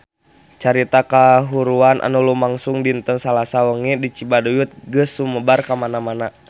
Carita kahuruan anu lumangsung dinten Salasa wengi di Cibaduyut geus sumebar kamana-mana